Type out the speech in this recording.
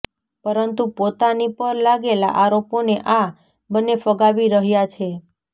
પરંતુ પોતાની પર લાગેલા આરોપોને આ બન્ને ફગાવી રહ્યા છે